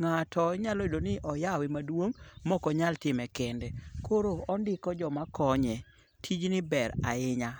ng'ato inyalo yudo ni oyawe maduong' mokonyal time kende koro ondiko jamkonye, tijni ber ahinya.